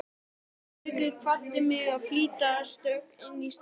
Gaukur kvaddi mig í flýti og stökk inn í strætó.